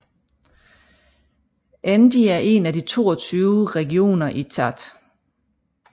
Ennedi er en af de 22 regioner i Tchad